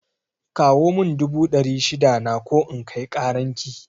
Kawo mun dubu dari shida na ko in kai karan ki